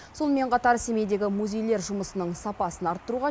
сонымен қатар семейдегі музейлер жұмысының сапасын арттыруға